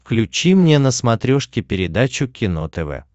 включи мне на смотрешке передачу кино тв